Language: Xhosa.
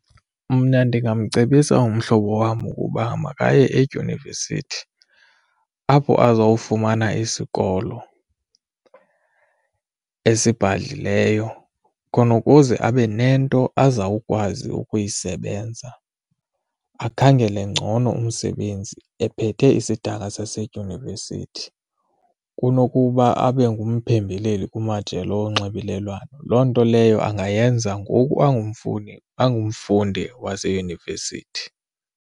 Mna ndingamcebisa umhlobo wam ukuba makaye edyunivesithi apho azawufumana isikolo esibhadlileyo khona ukuze abe nento azawukwazi ukuyisebenza akhangele ngcono umsebenzi ephethe isidanga sasedyunivesithi. Kunokuba abe ngumphembeleli kumajelo onxibelelwano, loo nto leyo angayenza ngoku angamfuni angumfundi waseyunivesithi.